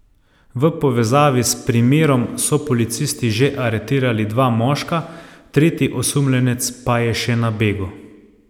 V povezavi s primerom so policisti že aretirali dva moška, tretji osumljenec pa je še na begu.